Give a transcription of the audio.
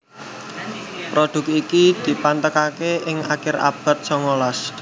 Produk iki dipatenaké ing akhir abad songolas